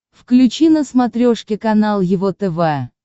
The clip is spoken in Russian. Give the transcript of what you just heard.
включи на смотрешке канал его тв